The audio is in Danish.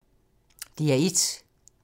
DR1